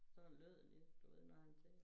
Sådan lød det du ved når han sagde